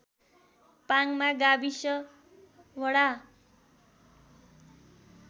पाङमा गाविस वडा